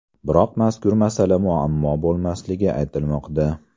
Biroq mazkur masala muammo bo‘lmasligi aytilmoqda.